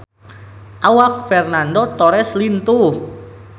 Awak Fernando Torres lintuh